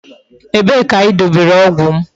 Ebe ka I dobere ogwu m?